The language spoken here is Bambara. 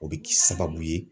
O bɛ kɛ sababu ye